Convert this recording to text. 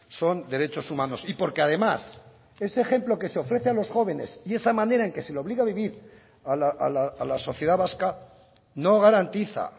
son derechos humanos y porque además ese ejemplo que se ofrece a los jóvenes y esa manera en que se le obliga a vivir a la sociedad vasca no garantiza